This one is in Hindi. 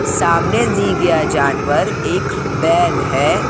सामने दी गया जानवर एक बैल है।